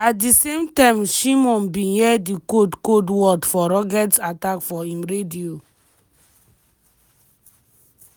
at di same time shimon bin hear di code code words for rocket attack for im radio.